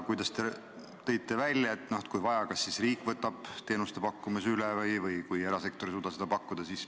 Te tõite välja, et kui vaja või kui erasektor ei suuda teenust pakkuda, siis riik võtab teenuse pakkumise üle.